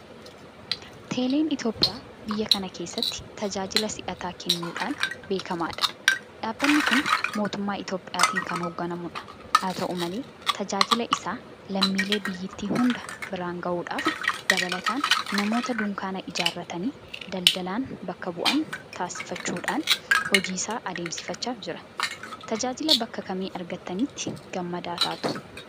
Teeleen Itoophiyaa biyya kana keessatti tajaajila si'ataa kunnuudhaan beekama. Dhaabbanni kun Mootummaa Itoophiyaatiin kan hoogganamudha. Haata'u malee tajaajila isaa lammiilee biyyattii hunda biraan gahuudhaaf dabalataan namoota Dukkaana ijaarratanii daldalan bakka bu'aa taasifachuudhaan hojiisaa adeemsifachaa jira. Tajaajila bakka kamii argattanitti gammadaa taatu?